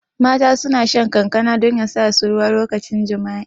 Mata suna shan kankana don yasa su ruwa lokacin jami'a